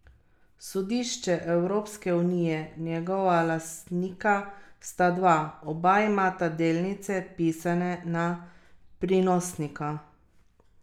Sodišče Evropske unije Njegova lastnika sta dva, oba imata delnice pisane na prinosnika.